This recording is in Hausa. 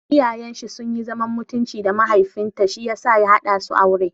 Iyayen shi sunyi zaman mutunci da mahaifin ta shiyasa ya haɗa su aure.